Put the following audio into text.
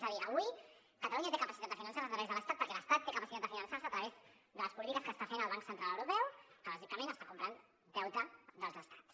és a dir avui catalunya té capacitat de finançar se a través de l’estat perquè l’estat té capacitat de finançar se a través de les polítiques que està fent el banc central europeu que bàsicament està comprant deute dels estats